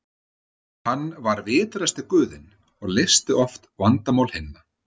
Hann var vitrasti guðinn og leysti oft vandamál hinna.